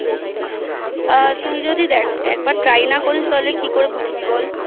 তুই যদি দেখ একবার Try না করিস তাহলে কি করে বুঝবি বল